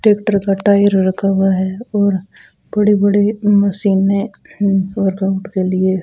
tractor का tyre रखा हुआ है और बड़े-बड़े मशीनें वर्कआउट के लिए --